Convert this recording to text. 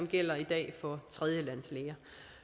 gælder i dag for tredjelandslæger